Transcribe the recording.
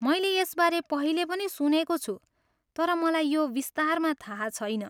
मैले यसबारे पहिले पनि सुनेको छु, तर मलाई यो विस्तारमा थाहा छैन।